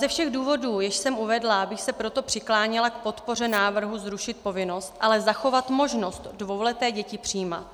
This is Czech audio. Ze všech důvodů, jež jsem uvedla, bych se proto přikláněla k podpoře návrhu zrušit povinnost, ale zachovat možnost dvouleté děti přijímat.